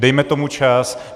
Dejme tomu čas.